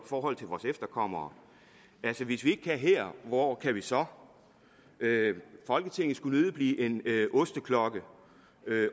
forhold til vores efterkommere altså hvis vi det her hvor kan vi så folketinget skulle nødig blive en osteklokke